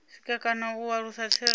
sikwa kana u alusa tserekano